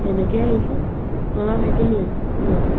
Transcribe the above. তেনেকে আহিছো মই মানে ভাইটিক লৈ আহিছো লগতে